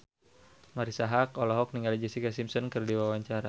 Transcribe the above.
Marisa Haque olohok ningali Jessica Simpson keur diwawancara